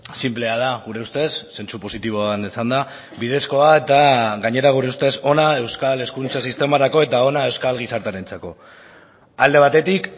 sinplea da gure ustez zentzu positiboan esanda bidezkoa eta gainera gure ustez ona euskal hezkuntza sistemarako eta ona euskal gizartearentzako alde batetik